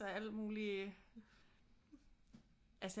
Og alt mulig altså